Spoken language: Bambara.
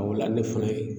o la ne fana ye